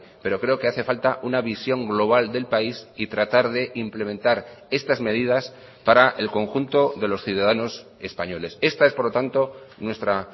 pero creo que hace falta una visión global del país y tratar de implementar estas medidas para el conjunto de los ciudadanos españoles esta es por lo tanto nuestra